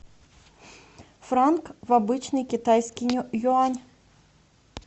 франк в обычный китайский юань